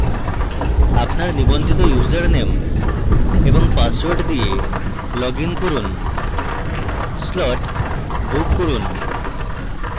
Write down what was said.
আপনার নিবন্ধিত ইউসারনেম এবং পাসওয়ার্ড দিয়ে লগইন করুন slot book করুন